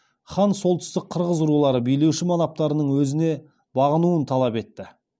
хан солтүстік қырғыз рулары білеуші манаптарының өзіне бағынуын талап етті